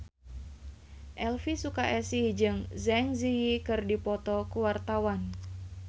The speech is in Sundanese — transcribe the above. Elvi Sukaesih jeung Zang Zi Yi keur dipoto ku wartawan